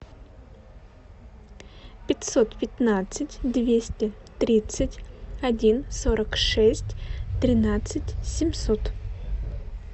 пятьсот пятнадцать двести тридцать один сорок шесть тринадцать семьсот